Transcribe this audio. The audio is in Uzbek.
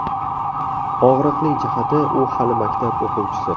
Og‘riqli jihati, u hali maktab o‘quvchisi.